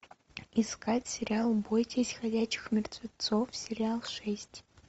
искать сериал бойтесь ходячих мертвецов сериал шесть